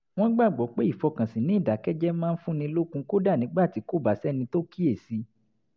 wọ́n gbàgbọ́ pé ìfọkànsìn ní ìdákẹ́jẹ́ẹ́ máa ń fúnni lókun kódà nígbà tí kò bá sẹ́ni tó kíyè sí i